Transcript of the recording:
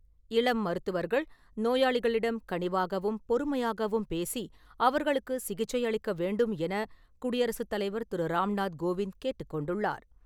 இளம் மருத்துவர்கள் நோயாளிகளிடம் கனிவாகவும் பொறுமையாகவும் பேசி அவர்களுக்கு சிகிச்சை அளிக்க வேண்டும் என குடியரசுத் தலைவர் திரு ராம்நாத் கோவிந்த் கேட்டுக் கொண்டுள்ளார்.